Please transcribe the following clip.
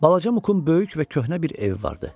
Balaca Mukun böyük və köhnə bir evi vardı.